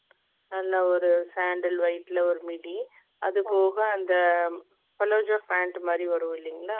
நல்ல ஒரு sandle white ல ஒரு midi அதுபோக palazzo pant அந்த மாதிரி வருளைங்களா